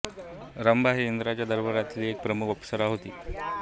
रंभा ही इंद्राच्या दरबारातील एक प्रमुख अप्सरा होती